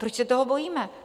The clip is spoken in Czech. Proč se toho bojíme?